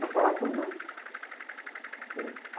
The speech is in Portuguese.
Mas falavam pelo nome.